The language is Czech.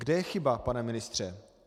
Kde je chyba, pane ministře?